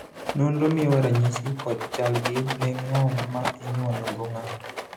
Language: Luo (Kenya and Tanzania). nonro miyowa ranyisi kod chalgi ne ng'ol ma inyuolo go ng'ato